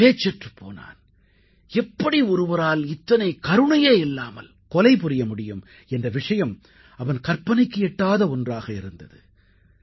அவன் பேச்சற்றுப் போனான் எப்படி ஒருவரால் இத்தனை கருணையே இல்லாமல் கொலை புரிய முடியும் என்ற விஷயம் அவன் கற்பனைக்கு எட்டாத ஒன்றாக இருந்தது